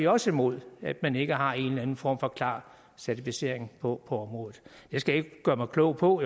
også imod at man ikke har en eller anden form for klar certificering på området jeg skal ikke gøre mig klog på